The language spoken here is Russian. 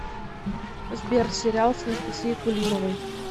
сбер сериал с анастасией кулимовой